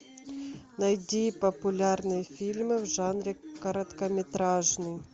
найди популярные фильмы в жанре короткометражный